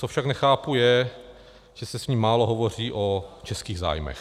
Co však nechápu, je, že se s ní málo hovoří o českých zájmech.